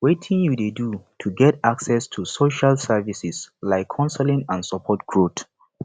wetin you dey do to get access to social services like counseling and support growth